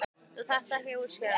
Þú þarft ekki að útskýra neitt.